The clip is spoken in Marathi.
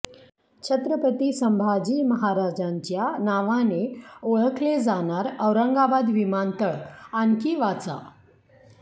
छत्रपती संभाजी महाराजांच्या नावाने ओळखले जाणार औरंगाबाद विमानतळ आणखी वाचा